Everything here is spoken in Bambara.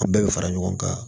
An bɛɛ bɛ fara ɲɔgɔn kan